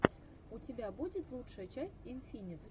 у тебя будет лучшая часть инфинит